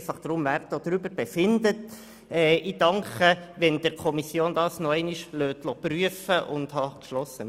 Ich danke Ihnen, wenn Sie das die Fiko noch einmal prüfen lassen.